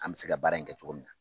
An mɛ se ka baara in kɛ cogo min na.